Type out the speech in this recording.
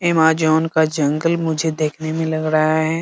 Amazon का जंगल मुझे देखने मे लग रहा है।